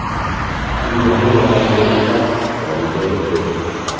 Kigeni kolany beit ab korik eng hoteli